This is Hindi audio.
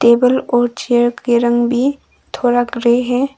टेबल और चेयर के रंग भी थोड़ा ग्रे है।